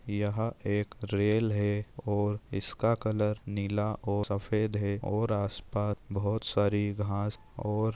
यह एक रेल है और इसका कलर नीला और सफ़ेद है और आस-पास बहुत सारी घास और--